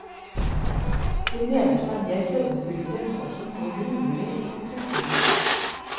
De nederste er mer sødmefylte, men også noe grunnere i konstruksjonen.